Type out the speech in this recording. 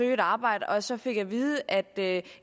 et arbejde og så fik at vide at